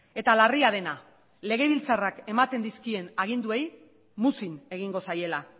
eta larria dena legebiltzarrak ematen dizkien aginduei muzin egingo zaiela